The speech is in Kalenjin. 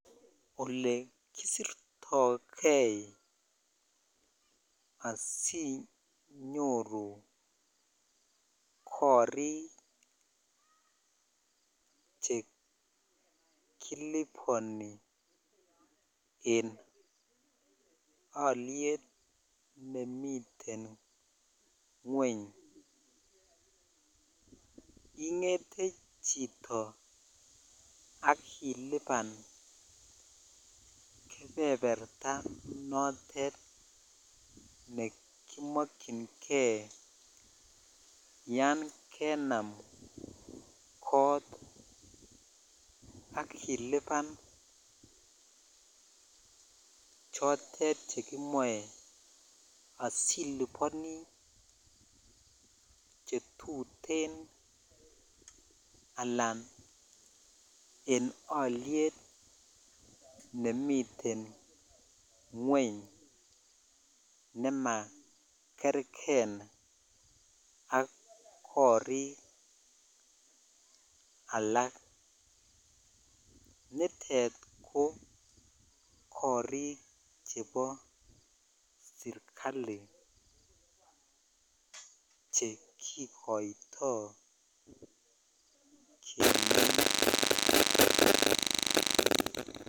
Ole kisirtoi kei asinyoru korik chekiliboni en olyet nemiten ngweny ingetee chito ak iliban kebeberta notet nekimokyinkei yan jensm kot ak iliban chotet chekimoche asiliboni chetuten akan en olyet nemiten ngweny ne makerkei ak korik slak nitet ko korik chebo sirkali chekikoitoi kemenye.